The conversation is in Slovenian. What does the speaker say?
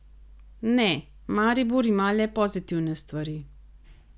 Ne, Maribor ima le pozitivne stvari.